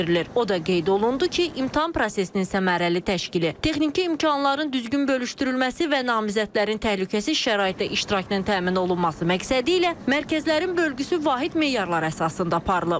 O da qeyd olundu ki, imtahan prosesinin səmərəli təşkili, texniki imkanların düzgün bölüşdürülməsi və namizədlərin təhlükəsiz şəraitdə iştirakının təmin olunması məqsədilə mərkəzlərin bölgüsü vahid meyarlar əsasında aparılıb.